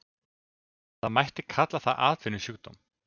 Það mætti kalla það atvinnusjúkdóm.